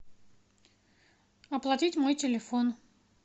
оплатить мой телефон